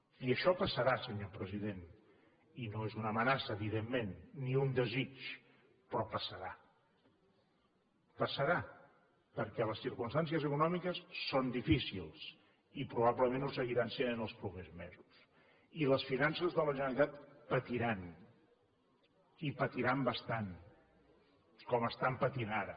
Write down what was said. i això passarà senyor president i no és una amenaça evidentment ni un desig però passarà passarà perquè les circumstàncies econòmiques són difícils i probablement ho seguiran sent els propers mesos i les finances de la generalitat patiran i patiran bastant com estan patint ara